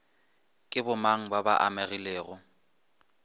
ke bomang ba ba amegilego